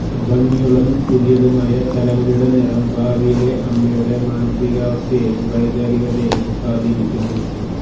ഭംഗിയുള്ളതും പുതിയതുമായ തലമുടിയുടെ നിറം ഭാവിയിലെ അമ്മയുടെ മാനസികാവസ്ഥയെയും വൈകാരികതയെയും സ്വാധീനിക്കുന്നു